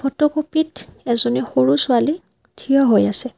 ফটোকপিত এজনী সৰু ছোৱালী থিয় হৈ আছে।